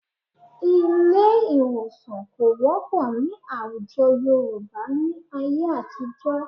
Ilé ì̀wòsàn kò wọ́pọ̀ ní àwùjọ Yorùbá ní ayé àtijọ́